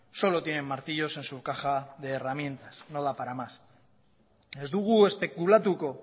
solo tienen martillos en su caja de herramientas no da para más ez dugu espekulatuko